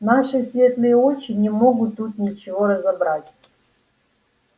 наши светлые очи не могут тут ничего разобрать